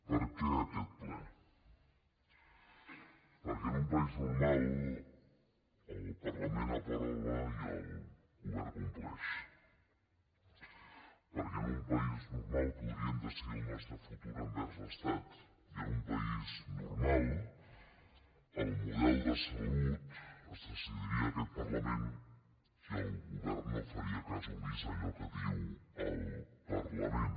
per què aquest ple perquè en un país normal el parlament aprova i el govern compleix perquè en un país normal podríem decidir el nostre futur envers l’estat i en un país normal el model de salut es decidiria en aquest parlament i el govern no faria cas omís a allò que diu el parlament